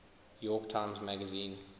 york times magazine